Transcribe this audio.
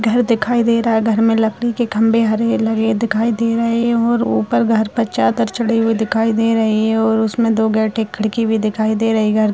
घर दिखाई दे रहा है घर में लकड़ी के खंबे हरे लगे दिखाई दे रहे हैं और ऊपर घर पर चादर चढ़े हुए दिखाई दे रहे हैं और उसमें दो गेट एक खिड़की भी दिखाई दे रही घर --